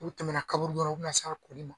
U tɛmɛna kaburudon u bɛna se a kɔnin ma.